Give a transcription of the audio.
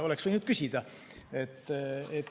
Oleks võinud küsida.